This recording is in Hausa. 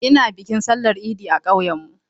Ina bikin sallar idi a ƙauyen mu.